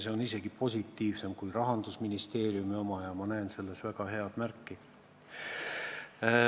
See on isegi positiivsem kui Rahandusministeeriumi oma ja ma näen selles väga head märki.